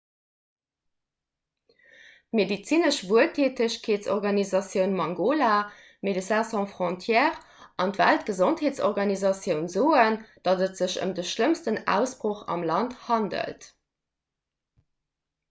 d'medezinesch wueltätegkeetsorganisatioun mangola médecins sans frontières an d'weltgesondheetsorganisatioun soen datt et sech ëm de schlëmmsten ausbroch am land handelt